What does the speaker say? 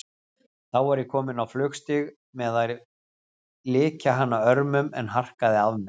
Þá var ég kominn á flugstig með að lykja hana örmum, en harkaði af mér.